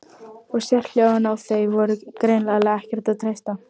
Og sérhljóðin, á þau var greinilega ekkert að treysta.